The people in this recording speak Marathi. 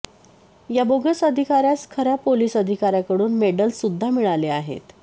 या बोगस अधिकाऱ्यास खऱ्या पोलीस अधिकाऱ्याकडून मेडल्स सुद्धा मिळाले आहेत